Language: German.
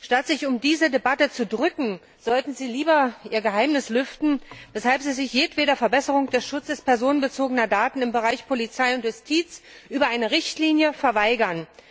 Statt sich um diese Debatte zu drücken, sollten Sie lieber Ihr Geheimnis lüften, weshalb Sie sich jedweder Verbesserung des Schutzes personenbezogener Daten im Bereich Polizei und Justiz über eine Richtlinie verweigern.